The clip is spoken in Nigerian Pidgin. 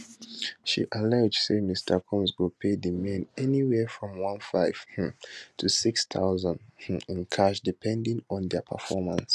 she allege say mr combs go pay di men anywhere from 1500 um to 6000 in cash depending on dia performance